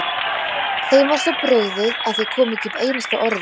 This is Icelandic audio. Þeim var svo brugðið að þau komu ekki upp einu einasta orði.